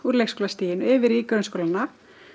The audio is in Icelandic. leikskólastiginu yfir í grunnskólana